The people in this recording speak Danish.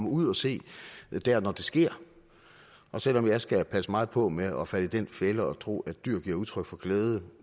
ud og se det der hvor det sker og selv om jeg skal passe meget på med at falde i den fælde og tro at dyr giver udtryk for glæde